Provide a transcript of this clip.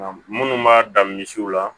Minnu b'a dan misiw la